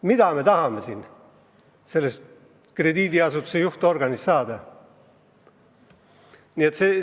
Mida me ikkagi tahame krediidiasutuse juhtorgani puhul saada?